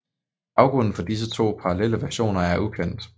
Baggrunden for disse to parallelle versioner er ukendt